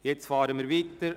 Jetzt fahren wir weiter.